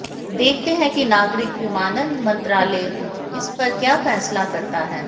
देखते हैं कि नागरिक विमानन मंत्रालय इस पर क्या फैसला करता है